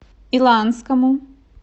иланскому